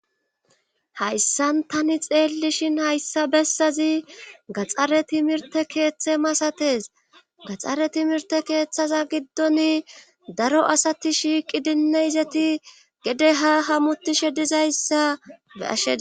hayssan tani xeellishin hayssa bessazi gaxare timirte keeththe masates gaxxare timirte keeththaza giddon daro asati shiiqi dinne izati gede ha hamutishe dizayssa eashea